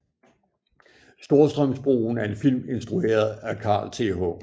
Storstrømsbroen er en film instrueret af Carl Th